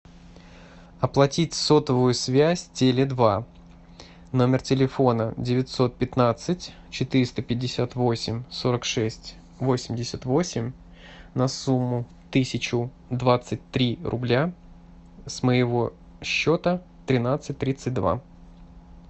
оплатить сотовую связь теле два номер телефона девятьсот пятнадцать четыреста пятьдесят восемь сорок шесть восемьдесят восемь на сумму тысячу двадцать три рубля с моего счета тринадцать тридцать два